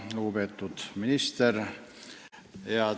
Lugupeetud minister!